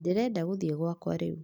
Ndĩrenda gũthiĩ gwaka rĩu